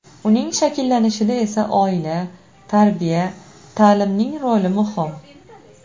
Uning shakllanishida esa oila, tarbiya, ta’limning roli muhim.